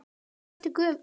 Og hvað ertu gömul?